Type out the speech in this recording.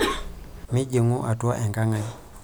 Mijing'u atua enkang' ai.